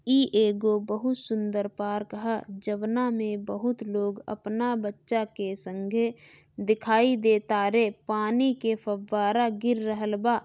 इ एगो बोहोत सुंदर पार्क हअ जउना मे बोहोत लोग अपना बच्चा के संगे दिखाई दे तारे पानी के फव्वारा गिर रहल बा।